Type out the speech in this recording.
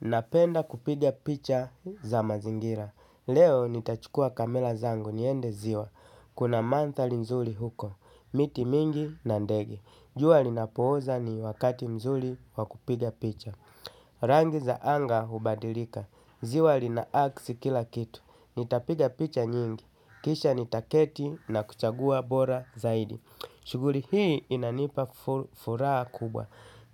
Napenda kupiga picha za mazingira. Leo nitachukua kamera zangu niende ziwa. Kuna manthali nzuli huko. Miti mingi na ndege. Jua linapooza ni wakati mzuli wa kupiga picha. Rangi za anga hubadilika. Ziwa lina aksi kila kitu. Nitapiga picha nyingi. Kisha nitaketi na kuchagua bora zaidi. Shughuli hii inanipa furaha kubwa.